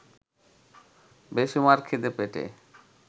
বেসুমার খিদে পেটে